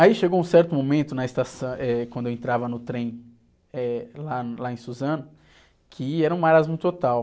Aí chegou um certo momento, na estação, eh, quando eu entrava no trem, eh, lá em, lá em Suzano, que era um marasmo total.